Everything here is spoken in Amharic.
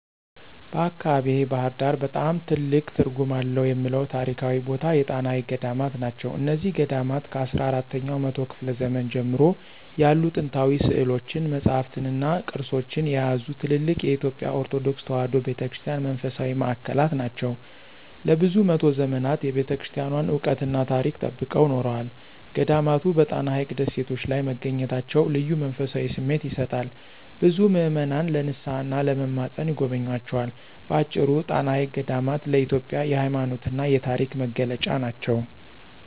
በአካባቢዬ (ባሕር ዳር) በጣም ትልቅ ትርጉም አለው የምለው ታሪካዊ ቦታ የጣና ሐይቅ ገዳማት ናቸው። እነዚህ ገዳማት ከአስራ አራተኛው መቶ ክፍለ ዘመን ጀምሮ ያሉ ጥንታዊ ሥዕሎችን፣ መጻሕፍትንና ቅርሶችን የያዙ ትልልቅ የኢትዮጵያ ኦርቶዶክስ ተዋሕዶ ቤተ ክርስቲያን መንፈሳዊ ማዕከላት ናቸው። ለብዙ መቶ ዘመናት የቤተክርስቲያኗን ዕውቀትና ታሪክ ጠብቀው ኖረዋል። ገዳማቱ በጣና ሐይቅ ደሴቶች ላይ መገኘታቸው ልዩ መንፈሳዊ ስሜት ይሰጣል፤ ብዙ ምዕመናን ለንስሓና ለመማፀን ይጎበኟቸዋል። በአጭሩ፣ ጣና ሐይቅ ገዳማት ለኢትዮጵያ የሃይማኖትና የታሪክ መገለጫ ናቸው።